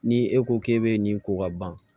Ni e ko k'e bɛ nin ko ka ban